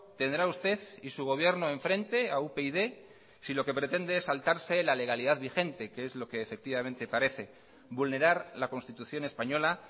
tendrá usted y su gobierno enfrente a upyd si lo que pretende es saltarse la legalidad vigente que es lo que efectivamente parece vulnerar la constitución española